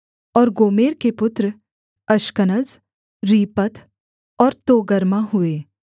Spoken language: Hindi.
और गोमेर के पुत्र अश्कनज रीपत और तोगर्मा हुए